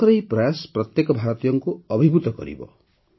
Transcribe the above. ତାଙ୍କର ଏହି ପ୍ରୟାସ ପ୍ରତ୍ୟେକ ଭାରତୀୟଙ୍କୁ ଅଭିଭୂତ କରିବ